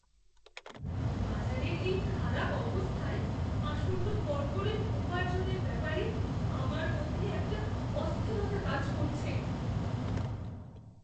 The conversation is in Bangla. বাজারের এই খারাপ অবস্থায় আসন্ন কর্পোরেট উপার্জনের ব্যাপারে আমার মধ্যে একটা অস্থিরতা কাজ করছে।